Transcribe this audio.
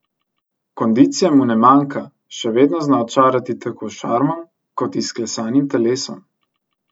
Kondicije mu ne manjka, še vedno zna očarati tako s šarmom, kot izklesanim telesom.